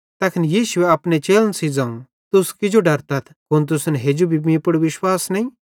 तैखन यीशुए अपने चेलन सेइं ज़ोवं तुस किजो डरतथ कुन तुसन हेजू भी मीं पुड़ विश्वास नईं